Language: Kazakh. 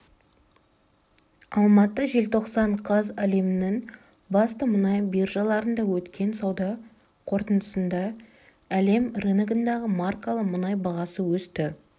алматы желтоқсан қаз әлемнің басты мұнай биржаларында өткен сауда қортындысында әлем рыногындағы маркалы мұнай бағасы өсті